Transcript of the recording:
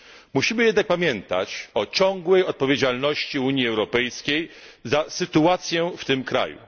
Musimy jednak pamiętać o ciągłej odpowiedzialności Unii Europejskiej za sytuację w tym kraju.